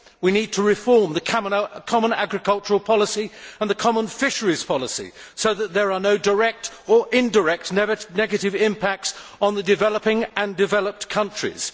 We need to reform the common agricultural policy and the common fisheries policy so that there are no direct or indirect negative impacts on the developing and developed countries.